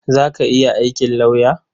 Za ki iya aikin lauya?